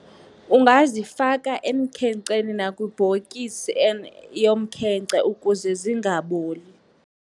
Ungazifaka emkhenkceni nakwibhokisi yomkhenkce ukuze zingaboli.